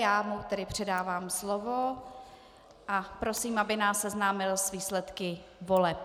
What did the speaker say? Já mu tedy předávám slovo a prosím, aby nás seznámil s výsledky voleb.